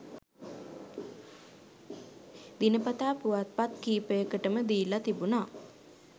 දිනපතා පුවත්පත් කිහිපයකටම දීලා තිබුණා